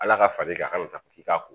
Ala ka far'i kan ka fɔ k'i k'a ko